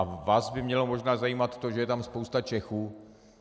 A vás by mělo možná zajímat to, že je tam spousta Čechů.